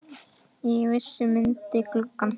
Ég vissi hann myndi guggna!